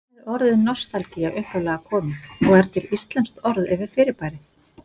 Hvaðan er orðið nostalgía upphaflega komið og er til íslenskt orð yfir fyrirbærið?